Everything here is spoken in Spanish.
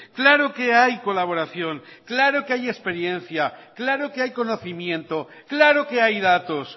claro que hay colaboración claro que hay experiencia claro que hay conocimiento claro que hay datos